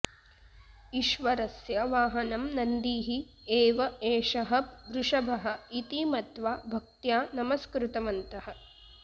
ईश्वरस्य वाहनं नन्दिः एव एषः वृषभः इति मत्वा भक्त्या नमस्कृतवन्तः